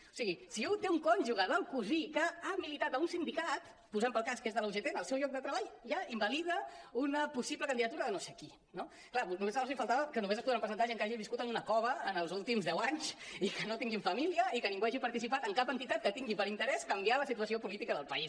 o sigui si un té un cònjuge del cosí que ha militat en un sin·dicat posem pel cas que és de la ugt en el seu lloc de treball ja invalida una pos·sible candidatura de no sé qui no clar només els faltava que només s’hi podran presentar gent que hagi viscut en una cova els últims deu anys i que no tinguin famí·lia i que ningú hagi participat en cap entitat que tingui per interès canviar la situació política del país